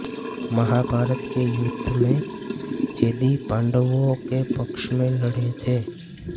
महाभारत के युद्ध में चेदि पांडवों के पक्ष में लड़े थे